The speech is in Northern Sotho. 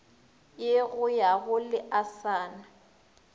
ye go ya go leasana